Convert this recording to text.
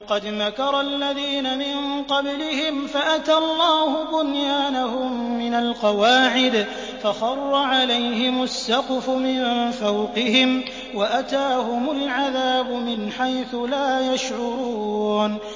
قَدْ مَكَرَ الَّذِينَ مِن قَبْلِهِمْ فَأَتَى اللَّهُ بُنْيَانَهُم مِّنَ الْقَوَاعِدِ فَخَرَّ عَلَيْهِمُ السَّقْفُ مِن فَوْقِهِمْ وَأَتَاهُمُ الْعَذَابُ مِنْ حَيْثُ لَا يَشْعُرُونَ